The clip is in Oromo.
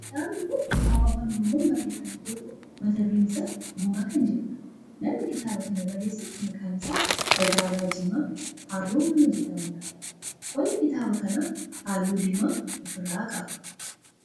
Kitaabni kun kitaaba afaan oromoon barreeffame yoo ta'u mata duree isaa Gumaa kan jedhudha. namni kitaaba kan barreesse maqaan isaa Dagaagaa Jimaa Haroo nama jedhamudha. qolli kitaaba kana halluu diimaa of irraa qaba.